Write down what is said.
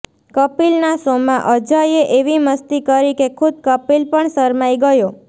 કપિલનાં શોમાં અજયે એવી મસ્તી કરી કે ખુદ કપિલ પણ શરમાઈ ગયો